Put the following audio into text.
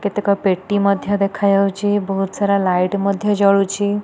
କେତେକ ପେଟି ମଧ୍ୟ ଦେଖାଯାଉଛି ବହୁତ ସାରା ଲାଇଟ ମଧ୍ୟ ଜଳୁଛି।